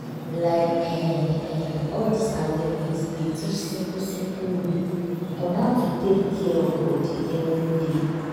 like eh eh all dis awareness dey teach simple simple way on how to take care of body everyday.